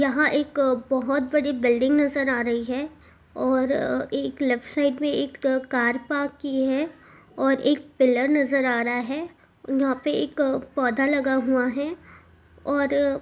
यहां एक बहुत बड़ी बिल्डिंग नजर आ रही है और एक लेफ्ट साइड में एक कार पार्क की है और एक पिलर नजर आ रहा हैं वहां पर एक पौधा लगा हुआ है। और --